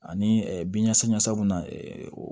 Ani bin ɲasa ɲasaw na o